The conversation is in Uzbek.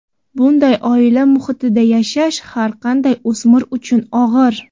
Bunday oila muhitida yashash har qanday o‘smir uchun og‘ir.